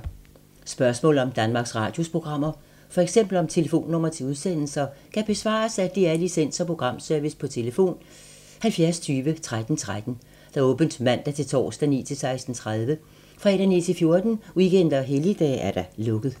Spørgsmål om Danmarks Radios programmer, f.eks. om telefonnumre til udsendelser, kan besvares af DR Licens- og Programservice: tlf. 70 20 13 13, åbent mandag-torsdag 9.00-16.30, fredag 9.00-14.00, weekender og helligdage: lukket.